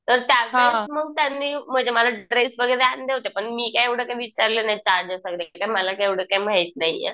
तर म्हणून त्यांनी म्हणजे मला ड्रेस वगैरे आणले होते पण मी काय एवढं काय विचारलं नाही आणले मला काय एवढं माहित नाहीये